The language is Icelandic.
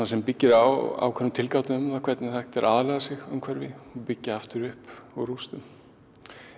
sem byggir á ákveðinni tilgátu um það hvernig er hægt að aðlaga sig umhverfi og byggja aftur upp úr rústum